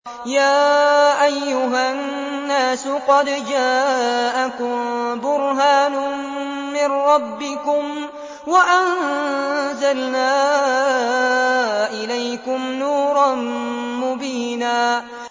يَا أَيُّهَا النَّاسُ قَدْ جَاءَكُم بُرْهَانٌ مِّن رَّبِّكُمْ وَأَنزَلْنَا إِلَيْكُمْ نُورًا مُّبِينًا